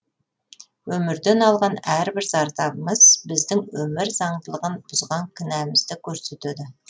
өмірден алған әрбір зардабымыз біздің өмір заңдылығын бұзған кінәмізді көрсетеді